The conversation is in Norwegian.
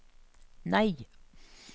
nei